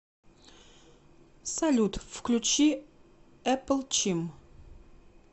салют включи эпл чим